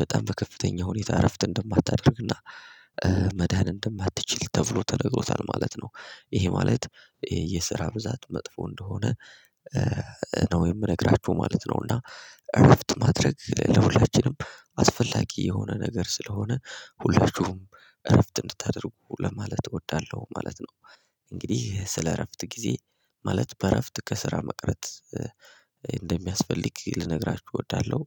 በጣም በከፍተኛ ሁኔታ እረፍት እንደማታደርግና መዳን እንደማትችል ተብሎ ተነግሮታል ማለት ነው ይሄ ማለት የስራ ብዛት መጥፎ እንደሆነ ነው የምነግራችሁ ማለት ነው እና እረፍት ማድረግ ለሁላችንም አስፈላጊ የሆነ ነገር ስለሆነ ሁላችሁም እረፍት እንድታደርጉ ለማለት እወዳለሁ ማለት ነው። እንግዲህ ስለ እረፍት ጊዜ ማለት በእረፍት ከስራ መቅረት እንደሚያስፈልግ ልነግራችሁ እወዳለሁ